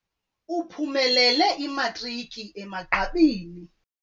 Uphumelele imatriki emagqabini.